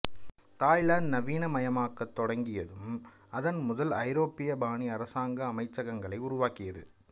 Thailand நவீனமயமாகத் தொடங்கியதும் அதன் முதல் ஐரோப்பிய பாணி அரசாங்க அமைச்சகங்களை உருவாக்கியது